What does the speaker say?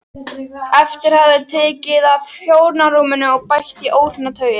Einhver hafði tekið af hjónarúminu og bætt í óhreina tauið.